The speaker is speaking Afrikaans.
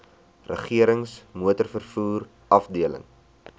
regerings motorvervoer afdeling